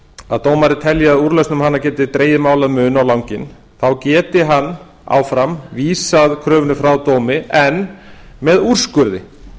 að dómari telji að úrlausn um hana geti dregið mál að mun á langinn þá geti hann áfram vísað kröfunni frá dómi en með úrskurði